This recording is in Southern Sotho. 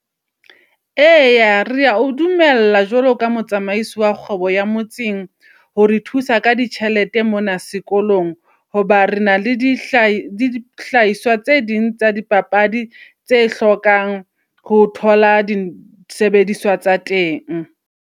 Eya rea o dumella jwalo ka motsamaisi wa kgwebo ya motseng. Hore thusa ka ditjhelete mona sekolong hoba re na le dihlahiswa le dihlahiswa tse ding tsa dipapadi, tse hlokang ho thola di sebediswa tsa teng.